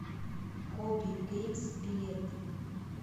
хобби геймс билет